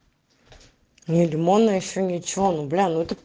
не лимонная ещё ничего ну бля ну это